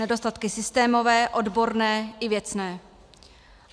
Nedostatky systémové, odborné i věcné.